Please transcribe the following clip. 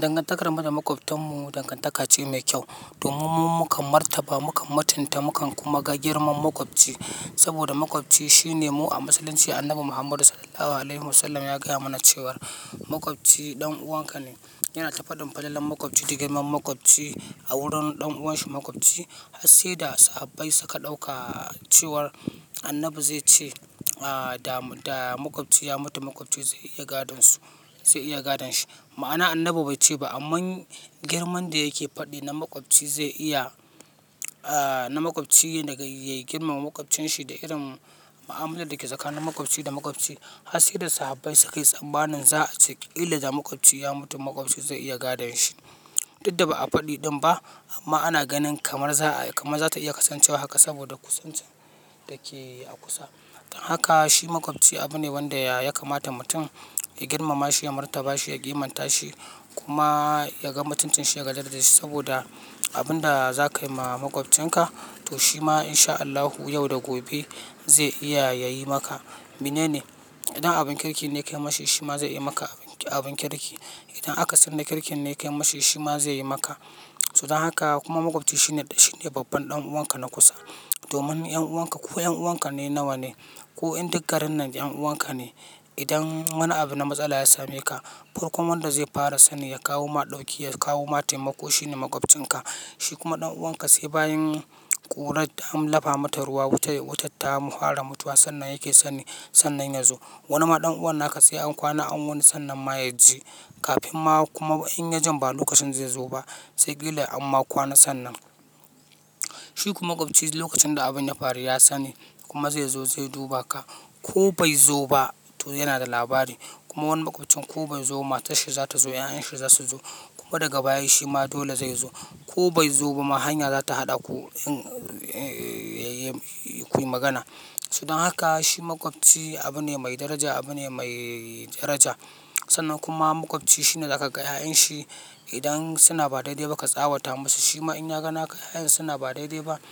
Dangantar mu da makwabtan mu dangantaka ce mai kyau. Domin mu kan martaba, mu kan mutunta, mukan kuma ga girman makwabci. Saboda makwabci shine mu a Musulunci. Annabi Muhammadu SAW ya gaya mana cewar makwabci dan uwanka ne. Yana ta fadin fadalar makwabci da girman makwabci a wurin dan uwanshi makwabci. Har sai da sahabbai suka dauka cewar Annabi zai ce da makwabci ya mutu makwabci zai iya gadon shi. Ma'ana Annabi bai ce ba amma girman da yake fadi na makwabci, na makwabci da yayi girman makwabcin shi da irin ma'amalar da ke tsakanin makwabci da makwabci. Har sai da sahabbai suka yi tsammanin za a ce idan da makwabci ya mutu makwabci zai iya gadon shi. Duk da ba a fadi din ba amma ana ganin kamar za ta iya kasancewa haka saboda kusancin da ke a kusa. Haka shi makwabci abu ne wanda ya kamata mutum ya girmama shi, ya martaba shi, ya kimanta shi kuma ya ga mutuncin shi ya gadan da shi. Saboda abin da za ka yi ma makwabcinka toh shi ma in sha Allahu yau da gobe zai iya ya yi maka. Mene ne. Idan abun kirki ne kai mashi shi ma zai yi maka abun kirki. Idan akasin na kirkin ne ka yi mashi shi ma zai yi maka. Toh don haka kuma makwabci shine babban dan uwanka na kusa. Domin 'yan uwanka ko 'yan uwanka ne nawa ne ko duk garin nan 'yan uwanka ne. Idan wani abu na matsala ya same ka, farko wanda zai fara sani ya kawo maɗoƙi ya kawo ma taimaƙo shine makwabcinka. Shi kuma dan uwanka sai bayan ƙura an lafa mata ruwa, wutar ta fara mutuwa, sannan yake sani. Sannan yazo. Wani ma dan uwana ka sai an kwana wani sannan ma ya ji. Kafin ma kuma in ya jin ba lokacin zai zo ba sai kila amma kwana sannan. Shi kuma makwabci lokacin da abin ya faru ya sani kuma zai zo zai duba ka ko bai zo ba to yana da labari. Kuma wani makwabcin ko bai zo ba matar shi za ta zo, 'ya'yan shi za su zo. Ko daga baya shi ma dole zai zo ko bai zo ba ma hanya za ta haɗa ku yi ku yi magana. Don haka shi makwabci abu ne mai daraja, abu ne mai daraja. Sannan kuma makwabci shine za ka gaya 'ya'yan shi idan suna ba daidai ba ka tsawata masu. Shi ma in ya ga wannan 'ya'yan suna ba daidai ba ya